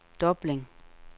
Dublin